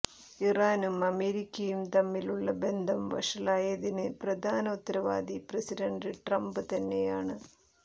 ഇറാനും അമേരിക്കയും തമ്മിലുള്ള ബന്ധം വഷളായതിന് പ്രധാന ഉത്തരവാദി പ്രസിഡന്റ് ട്രംപ് തന്നെയാണ്